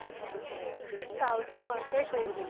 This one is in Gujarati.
South નું હશે કંઈક